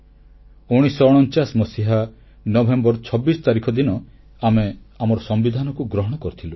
1949 ମସିହା ନଭେମ୍ବର 26 ତାରିଖ ଦିନ ଆମେ ଆମର ସମ୍ବିଧାନକୁ ଗ୍ରହଣ କରିଥିଲୁ